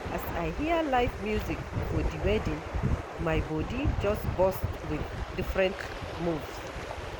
As I hear live music for di wedding, my bodi just burst wit different moves.